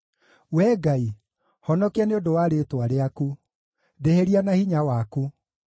Wee Ngai, honokia nĩ ũndũ wa rĩĩtwa rĩaku; ndĩhĩria na hinya waku.